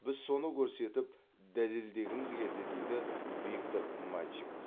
біз соны көрсетіп дәлелдегіміз келді дейді виктор мальчиков